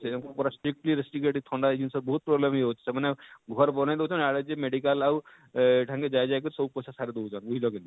ହେମାନକୁ ପୁରା stickly restricted ଥଣ୍ଡା ଜିନ୍ସ ବହୁତ problem ହେଇ ଯାଉଛେ ମାନେ ଘର ବନେଇ ଦେଉଛନ ଆଉ ଇଆଡ଼େ ଯେ medical ଆଉ ଇଠାନ କେ ଯାଇ ଯାଇ କରି ସବୁ ପଇସା ସାରି ଦଉଛନ ବୁଝଲ କିନି?